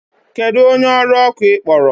Kedu onye ọrụ ọkụ ị kpọrọ?